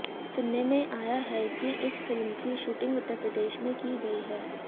सुनने में आया है कि इस फिल्म की शूटिंग उत्तर प्रदेश में की गई है